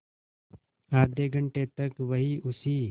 आधे घंटे तक वहीं उसी